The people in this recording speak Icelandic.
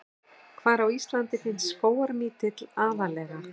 Hvar á Íslandi finnst skógarmítill aðallega?